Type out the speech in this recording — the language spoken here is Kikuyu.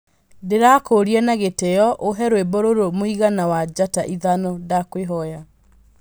ndīrakūria na gītio uhe rwīmbo rūrū mūigana wa njata ithano ndakwīhoya